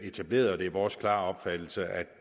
etableret og det er vores klare opfattelse at